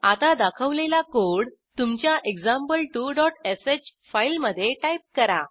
आता दाखवलेला कोड तुमच्या example2श फाईलमधे टाईप करा